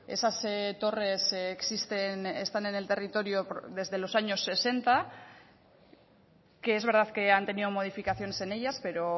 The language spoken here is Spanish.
esas torres existen están en el territorio desde los años sesenta que es verdad que han tenido modificaciones en ellas pero